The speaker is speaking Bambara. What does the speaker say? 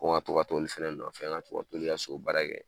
Ko ŋa to ka t'olu fɛnɛ nɔfɛ ŋa to ka t'olu ka so baara kɛ